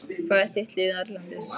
Hvað er þitt lið erlendis?